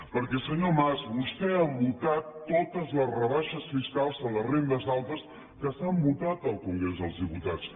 perquè senyor mas vostè ha votat totes les rebaixes fiscals a les rendes altes que s’han votat al congrés dels diputats